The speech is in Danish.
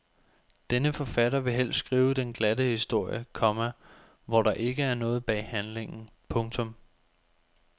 Denne forfatter vil helst skrive den glatte historie, komma hvor der ikke er noget bag handlingen. punktum